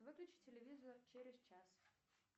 выключи телевизор через час